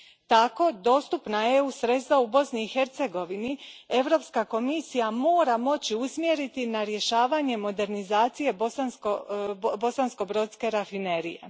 Tako, dostupna EU sredstva u Bosni i Hercegovini Europska komisija mora moći usmjeriti na rješavanje modernizacije bosanskobrodske rafinerije.